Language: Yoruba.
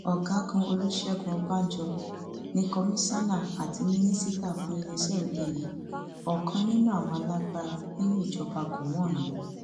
ọgágun olùṣègùn ọbànjọ ní kọmíṣánná àbí mínísítà fún iléeṣẹ òde yìí ọkan nínú àwọn alágbára nínú ìjọba gọwọn ni